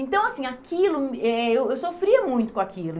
Então, assim, aquilo... Eh eh eu sofria muito com aquilo.